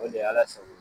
O de ye ala sago i